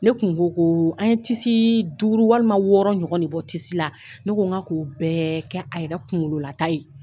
Ne kun ko ko, an ye duuru walima wɔɔrɔ ɲɔgɔn de bɔ la ne ko n ka k'o bɛɛ kɛ a yɛrɛ kunkololata ye.